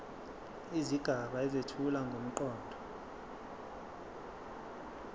izigaba ezethula ngomqondo